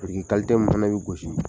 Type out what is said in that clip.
Biriki min fɛnɛ bɛ gosi.